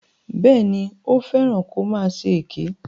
Bẹ́ẹ̀ni, ó fẹ́ràn kó máa ṣe èké.